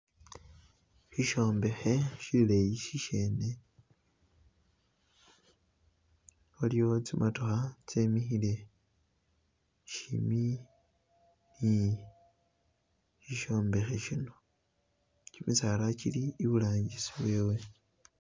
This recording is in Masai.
Shi shombekhe shileyi shishene waliwo tsi motokha tsemikhile shimbi ni shishombekhe shino gyimisala gili iburangisi wewe.